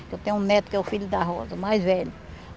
Eu tenho um neto que é o filho da Rosa, o mais velho.